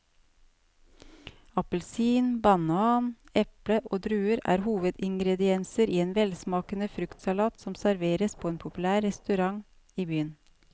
Appelsin, banan, eple og druer er hovedingredienser i en velsmakende fruktsalat som serveres på en populær restaurant i byen.